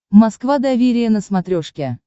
москва доверие на смотрешке